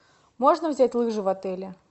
можно взять лыжи в отеле